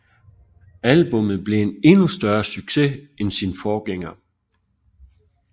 Albummet blev en endnu større succes end sin forgænger